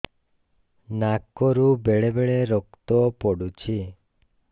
ନାକରୁ ବେଳେ ବେଳେ ରକ୍ତ ପଡୁଛି